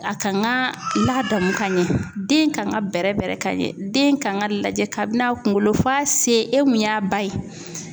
A kan ka ladamu ka ɲɛ, den kan ka bɛrɛ bɛrɛ ka ɲɛ .Den kan ka lajɛ kabini a kunkolo f'a sen e mun y'a ba ye.